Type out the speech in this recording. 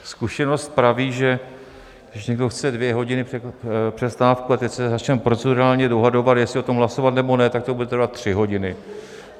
Zkušenost praví, že když někdo chce dvě hodiny přestávku, a teď se začneme procedurálně dohadovat, jestli o tom hlasovat, nebo ne, tak to bude trvat tři hodiny.